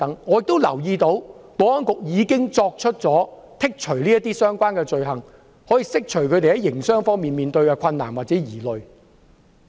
我也留意到，保安局已剔除相關罪類，釋除他們在營商方面的疑慮。